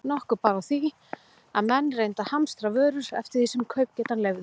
Nokkuð bar á því, að menn reyndu að hamstra vörur eftir því sem kaupgetan leyfði.